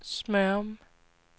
Smørum